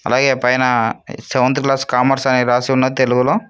అలాగే పైన seventh class commerce అని రాసి ఉన్నది తెలుగులో.